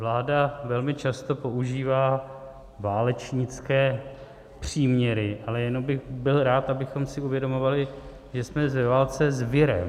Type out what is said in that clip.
Vláda velmi často používá válečnické příměry, ale jenom bych byl rád, abychom si uvědomovali, že jsme ve válce s virem.